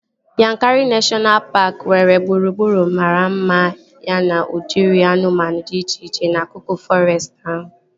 Yankari neshọna paaki nwere gburugburu mara mma ya na udiri anụmanụ dị iche iche n'akụkụ fọrestị ahụ